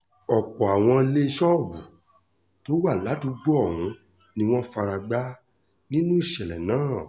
ọ̀pọ̀ àwọn ilé ṣọ́ọ̀bù tó wà ládùúgbò ọ̀hún ni wọ́n fara gbá nínú ìṣẹ̀lẹ̀ náà